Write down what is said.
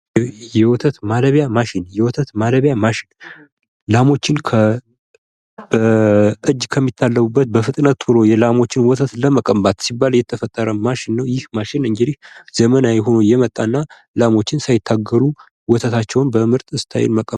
የወተት ማለቢያ ማሽን:- የወተት ማለቢያ ማሽን ላሞችን ከእጅ ከሚታለቡበት በፍጥነት ቶሎ የላሞችን ወተት ለመቀማት ሲባልየተፈጠረ ማሽን ነዉ። ይህ ማሽን እንግዲህ ዘመናዊ ሆኖ የመጣ እና ላሞችን ሳይታገሉ ወተታቸዉን በምርጥ ስታይል ...